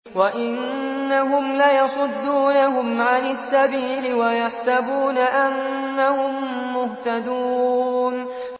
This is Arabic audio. وَإِنَّهُمْ لَيَصُدُّونَهُمْ عَنِ السَّبِيلِ وَيَحْسَبُونَ أَنَّهُم مُّهْتَدُونَ